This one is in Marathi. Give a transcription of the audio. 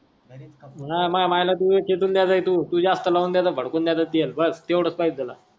नाय मायला तू लय चिटूण द्यायलाय तू जास्त लावून द्यायलाय भडकून द्यायलाय तेवढेच पाहे तूला